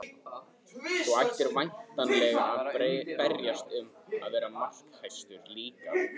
Þú ætlar væntanlega að berjast um að vera markahæstur líka?